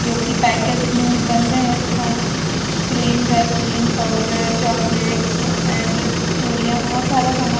जो कि पैकेज में बंद है तथा cream vaseline powder chocolates and चूड़ियां बोहोत सारा सामान --